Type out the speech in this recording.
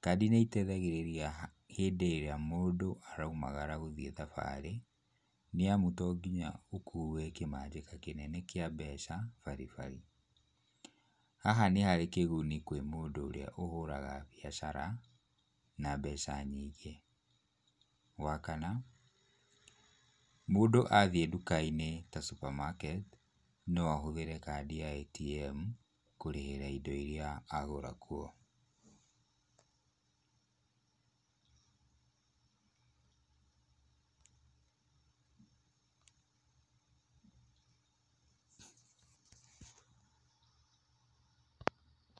kadi nĩiteithagĩrĩria ha hĩndĩ ĩrĩa mũndũ araumagara gũthiĩ thabarĩ nĩamu tonginya ũkuwe kĩmanjika kĩnene kĩa mbeca baribari. Haha nĩharĩ kĩguni kũrĩ mũndũ ũrĩa ũhũraga biacara na mbeca nyingĩ. Wakana, mũndũ athiĩ nduka-inĩ ta supermarket, noahũthĩre kadi ya ATM kũrĩhĩra indo iria agũra kuo.